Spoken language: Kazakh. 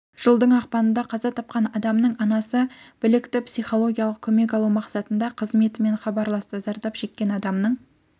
жылдың ақпанында қаза тапқан адамның анасы білікті психологиялық көмек алу мақсатында қызметімен хабарласты зардап шеккен адамның